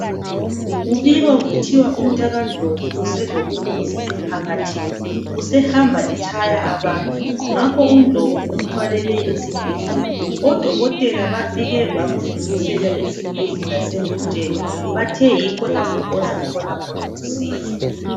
Kubikwa kuthiwa umtakaNdlovu uselobungozi emphakathini usehamba etshaya ngakho uNdlovu umthwalele esibhedlela odokotela bafike bamdlulisela esibhedlela sengutsheni bathe yikho lapho ozathola khona usizo